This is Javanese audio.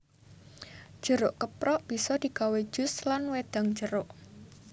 Jeruk keprok bisa digawé jus lan wedang jeruk